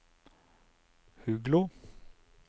Huglo